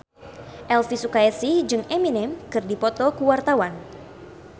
Elvi Sukaesih jeung Eminem keur dipoto ku wartawan